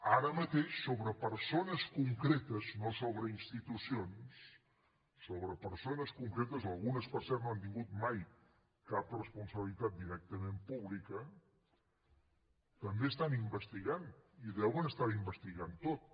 ara mateix sobre persones concretes no sobre institucions sobre persones concretes algunes per cert no han tingut mai cap responsabilitat directament pública també estan investigant i ho deuen estar investigant tot